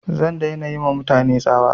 Zan dai na yi ma mutane tsawa